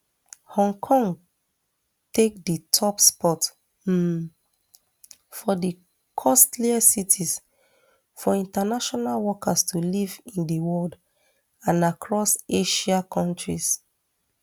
hong kong take di top spot um for di costliest cities for international workers to live in di world and across asia kontris